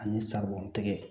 Ani sabanan tigɛ